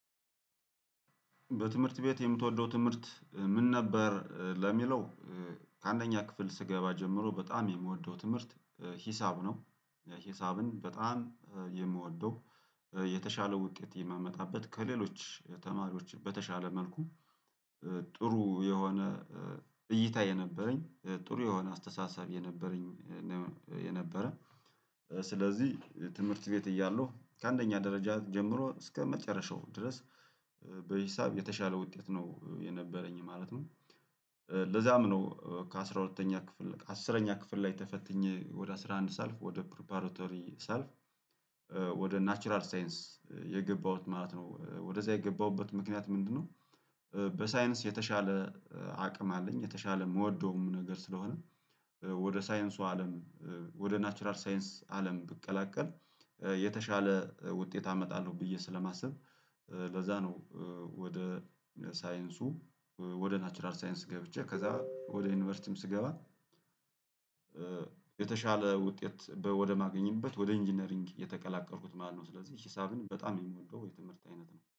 በትምህርት ቤት የምትወደው ትምህርት ምን ነበር? ለሚለው ከአንደኛ ክፍል ስገባ ጀምሮ በጣም የምወደው ትምህርት ሂሳብ ነው። ሂሳብን በጣም የምወደው የተሻለ ውጤት የማመጣበት ከሌሎች ተማሪዎች በተሻለ መልኩ ጥሩ የሆነ እይታ የነበረኝ ጥሩ የሆነ አስተሳሰብ የነበረኝ የነበረ ስለዚህ የትምህርት ቤት እያለሁ ከአንደኛ ደረጃ ጀምሮ እስከመጨረሻው ድረስ በሂሳብ የተሻለ ውጤት ነው የነበረኝ ማለት ነው ለዛም ነው ከአሥራ ሁለተኛ ክፍል አስረኛ ክፍል ላይ ተፈትኜ ወደ አስራ አንድ ሳልፍ ወደ ፕሪፓራተሪ ሳልፍ ወደ ናቹራል ሳይንስ የገባሁት ማለት ነው፤ ወደዛ የገባሁበት ምክንያት ምንድነው በሳይንስ የተሻለ አቅም አለኝ የተሻለ የምወደውም ነገር ስለሆነ ወደ ሳይንሱ አለም ወደ ናቹራል ሳይንስ አለም ብቀላቀል የተሻለ ውጤት አመጣለሁ ብዬ ስለማስብ ለዛ ነው ወደ ሳይንሱ ወደ ናቹራል ሳይንስ ገብቼ ከዛ ወደ ዩኒቨርሲቲም ስገባ የተሻለ ውጤት ወደማገኝበት ወደ ኢንጂነሪንግ የተቀላቀልኩት ማነው፤ ስለዚህ ሂሳብን በጣም የምወደው የትምህርት አይነት ነው።